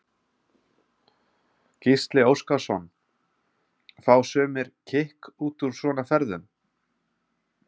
Gísli Óskarsson: Fá sumir kikk út úr svona ferðum?